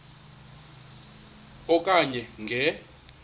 e okanye nge